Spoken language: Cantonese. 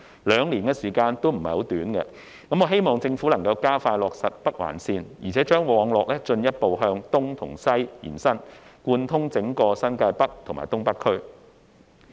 兩年時間並非短暫，我希望政府能加快落實北環綫，並將網絡進一步向東西延伸，貫通整個新界北及東北區。